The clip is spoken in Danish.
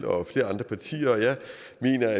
jeg